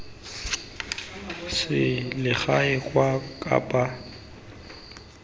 selegae kwa kapa botlhaba radio